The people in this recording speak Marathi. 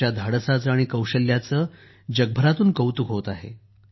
त्यांच्या धाडसाचे आणि कौशल्याचे जगभरातून कौतुक होत आहे